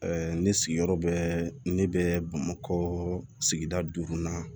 ne sigiyɔrɔ bɛ ne bɛ bamakɔ sigida duurunan